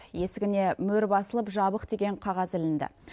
есігіне мөр басылып жабық деген қағаз ілінді